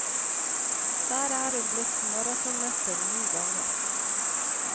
Der er hun blitt maratonmester ni ganger.